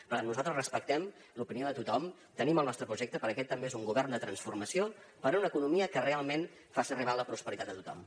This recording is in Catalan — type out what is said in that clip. per tant nosaltres respectem l’opinió de tothom tenim el nostre projecte perquè aquest també és un govern de transformació per una economia que realment faci arribar la prosperitat a tothom